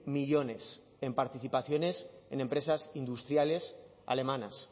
millónes en participaciones en empresas industriales alemanas